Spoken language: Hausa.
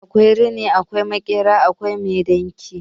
Akwai rini, akwai makera, akwai mai dinki